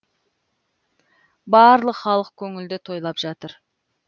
барлық халық көңілді тойлап жатыр